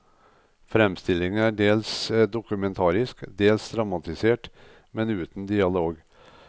Fremstillingen er dels dokumentarisk, dels dramatisert, men uten dialog.